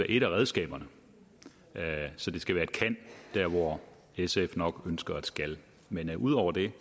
et af redskaberne så det skal være et kan der hvor sf nok ønsker et skal men ud over det